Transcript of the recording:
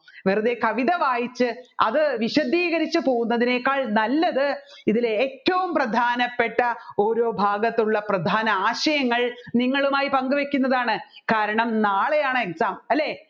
വെറുതെ കവിത വായിച്ചു അത് വിശദീകരിച്ച് പോകുന്നതിനേക്കാൾ നല്ലത് അതിലേറ്റവും പ്രധനപ്പെട്ട ഓരോ ഭാഗത്തുള്ള പ്രധാന ആശയങ്ങൾ നിങ്ങളുമായി പങ്കുവെക്കുന്നതാണ് കാരണം നാളെയാണ് exam അല്ലെ